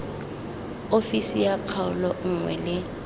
ofisi ya kgaolo nngwe le